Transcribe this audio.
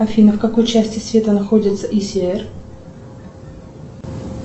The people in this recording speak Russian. афина в какой части света находится исиэр